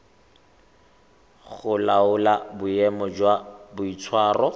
go laola boemo jwa boitshwaro